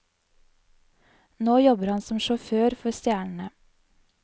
Nå jobber han som sjåfør for stjernene.